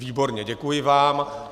Výborně, děkuji vám.